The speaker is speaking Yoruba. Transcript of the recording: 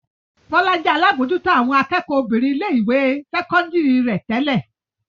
Bọ́lá jẹ́ alábòójútó àwọn akẹ́kọ̀ọ́ obìnrin ilé-ìwé sẹ́kọ́ndárì rẹ̀ tẹ́lẹ̀.